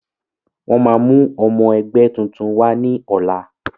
Wọn máa mú ọmọ ẹgbẹ́ tuntun wá ní ọ̀la.